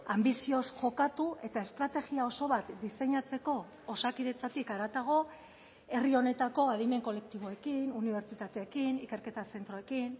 anbizioz jokatu eta estrategia oso bat diseinatzeko osakidetzatik haratago herri honetako adimen kolektiboekin unibertsitateekin ikerketa zentroekin